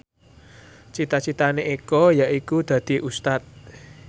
cita citane Eko yaiku dadi Ustad